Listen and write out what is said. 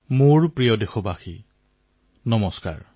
মোৰ মৰমৰ দেশবাসীসকল নমস্কাৰ